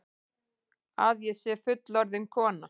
Að ég sé fullorðin kona.